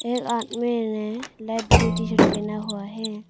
इस आदमी ने लाइट ब्लू टी शर्ट पहना हुआ है।